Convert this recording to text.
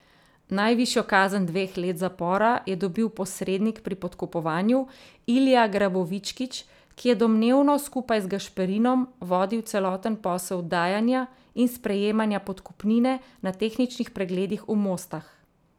Najvišjo kazen dveh let zapora je dobil posrednik pri podkupovanju Ilija Grabovičkić, ki je domnevno skupaj z Gašperinom vodil celoten posel dajanja in sprejemanja podkupnine na tehničnih pregledih v Mostah.